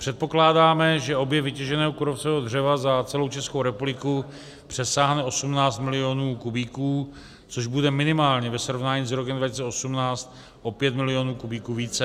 Předpokládáme, že objem vytěženého kůrovcového dřeva za celou Českou republiku přesáhne 18 milionů kubíků, což bude minimálně ve srovnání s rokem 2018 o 5 milionů kubíků více.